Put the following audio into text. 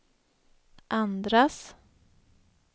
andras